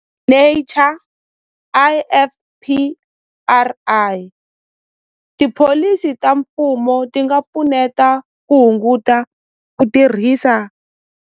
Nature I_F_P_R_I tipholisi ta mfumo ti nga pfuneta ku hunguta ku tirhisa.